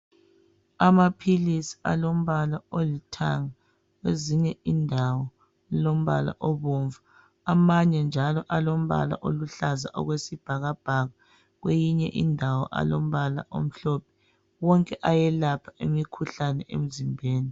Amaphilisi alombala olithanga kwezinye indawo lilombala obomvu, amanye njalo alombala oluhlaza okwesibhakabhaka. Kweyinye indawo alombala omhlophe, wonke ayelapha imikhuhlane emzimbeni.